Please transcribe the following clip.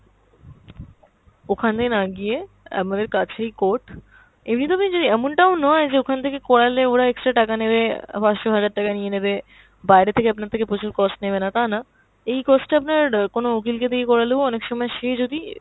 ওখানে না গিয়ে আমাদের কাছেই court, এমনিতো আমি জানি এমন টাও নয় যে ওখান থেকে করালে ওরা extra টাকা নেবে, অ্যাঁ পাঁচশো, হাজার টাকা নিয়ে নেবে, বাইরে থেকে আপনার থেকে আপনার থেকে প্রচুর cost নেবে না তা না। এই cost টা আপনার অ্যাঁ কোনো উকিল কে দিয়ে করালেও অনেক সময় সে যদি